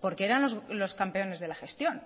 porque eran los campeones de la gestión